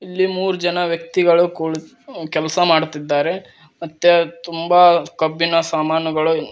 ಇಲ್ಲಿ ಮೂರು ಜನ ವ್ಯಕ್ತಿಗಳು ಕುಳಿ ಕೆಲಸ ಮಾಡುತ್ತಿದ್ದಾರೆ ಮತ್ತೆ ತುಂಬಾ ಕಬ್ಬಿಣ ಸಾಮಾನುಗಳು--